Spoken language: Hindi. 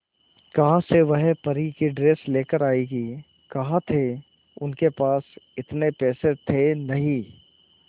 कहां से वह परी की ड्रेस लेकर आएगी कहां थे उनके पास इतने पैसे थे नही